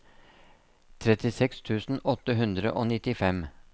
trettiseks tusen åtte hundre og nittifem